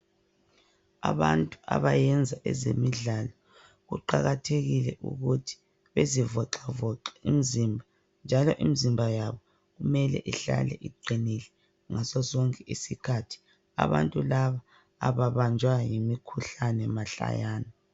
abantu abayenza ezemidlalo kuqakathekile ukuthi bezi voxavoxa imzimba njalo imzimba yabo kumele ihlale iqinile ngaso sonke isikhathi abantu laba ababanjwa yimikhuhlane mahlayana